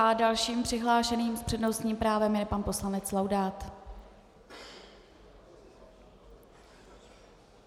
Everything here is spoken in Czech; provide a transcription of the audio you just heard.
A dalším přihlášeným s přednostním právem je pan poslanec Laudát.